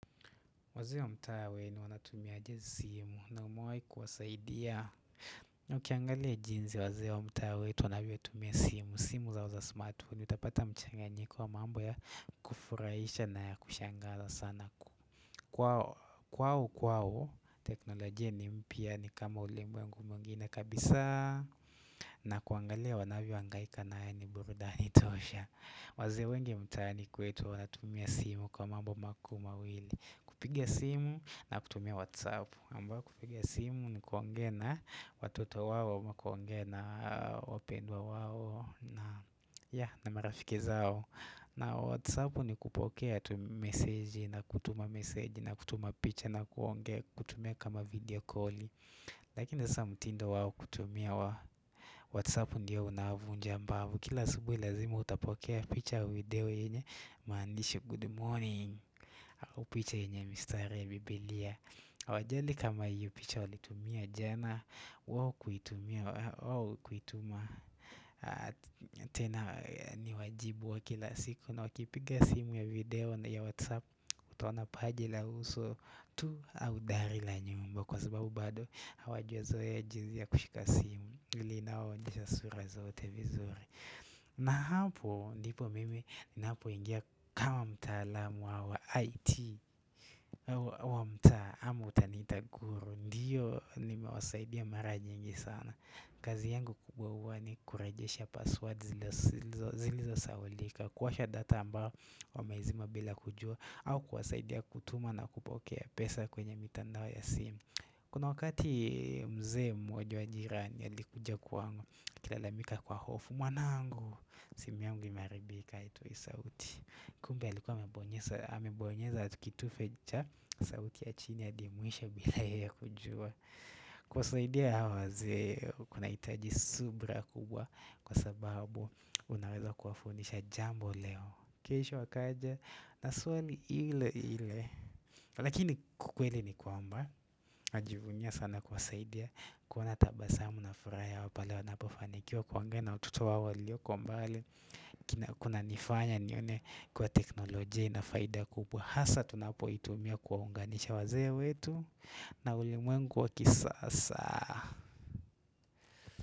Wazee wa mtaa wenu wanatumia aje simu na umewai kuwasaidia Ukiangalia jinsi wazee wa mtaa wetu wanavyo tumia simu simu zao za smartphone utapata mchanganyiko wa mambo ya kufurahisha na ya kushangaza sana kwao kwao kwao teknolojia ni mpya ni kama ulimwengu mwengine kabisa na kuangalia wanavyo hangaika nayo ni burudani tosha wazee wengi mtaani kwetu wanatumia simu kwa mambo mawili kupiga simu na kutumia whatsapp kupiga simu ni kuongea na watoto wao ama kuongea na wapendwa wao na marafiki zao na whatsapp ni kupokea tu message na kutuma message na kutuma picha na kuongea kutumia kama video call Lakina saa mtindo wao wa kutumia Whatsapp ndio unavunja mbavu. Kila asubuhi lazima utapokea picha, video yenye maandishi good morning au picha yenye mistari ya bibilia Hawajali kama hiyo picha walitumia jana wao kuitumia tena ni wajibu wa kila siku na wakipiga simu ya video ya WhatsApp utoona paji la uso tu au dari la nyumba Kwa sababu bado hawajazoea jinsi ya kushika simu ili inawaonyesha sura zote vizuri na hapo ndipo mimi napo ingia kama mtaalamu wa IT wa mtaa ama utaniita guru Ndiyo nimewasaidia mara nyingi sana kazi yangu kuu ni kurejesha password zilizo sahaulika kuwasha data ambao wameizima bila kujua au kuwasaidia kutuma na kupokea pesa kwenye mitandao ya simu Kuna wakati mzee mmoja wa jirani alikuja kwangu akilalamika kwa hofu, mwanangu simu yangu imeharibika haitoi sauti kumbe alikuwa amebonyeza kitufe cha sauti ya chini hadi mwisho bila yeye kujua kuwasaidia hawa wazee kunahitaji subra kubwa Kwa sababu Unaweza kuwafundisha jambo leo kesho akaja na swali ile ile Lakini ukweli ni kwamba Najivunia sana kuwasaidia kuona tabasamu na furaha yao pale wanapofanikiwa kuongea na watoto wao walioko mbali kina kuna nifanya nione kwa teknolojia ina faida kubwa. Hasa tunapoitumia kuwaunganisha wazee wetu na ulimwengu wa kisasa.